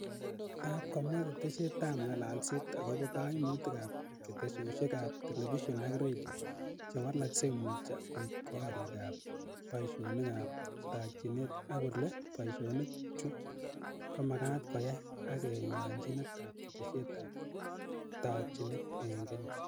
Taap komwa ketesyet ap ng'alalset akobo kaimutik ap ketesyok ap telefision ak redio chewalekei muutyo koek koriik ap paisiyonik ap taakchinet ak kole paisiyonik chu komagaat koyaak ak kayanchinet ap ketesyet ap taakchinet eng' kenya